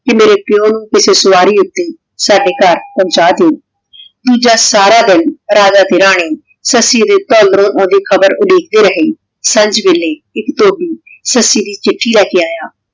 ਕੇ ਮੇਰੇ ਪਾਯੋ ਨੂ ਕਿਸੇ ਸਵਾਰੀ ਊਟੀ ਸਾਡੇ ਗਹਰ ਪੋਹ੍ਨ੍ਚਾ ਦਯੋ ਦੋਜਾ ਸਾਰਾ ਦਿਨ ਰਾਜਾ ਤੇ ਰਾਨੀ ਸੱਸੀ ਦੇ ਘਰੋਂ ਓਹਦੀ ਖਬਰ ਉਡੀਕਦੇ ਰਹੀ ਸਾਂਝ ਵੇਲੇ ਏਇਕ ਇਕ ਧੋਬੀ ਸੱਸੀ ਦੀ ਚਿਠੀ ਲੇ ਕੇ ਆਯਾ